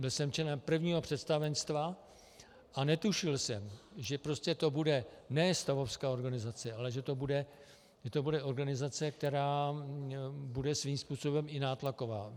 Byl jsem členem prvního představenstva a netušil jsem, že to prostě bude ne stavovská organizace, ale že to bude organizace, která bude svým způsobem i nátlaková.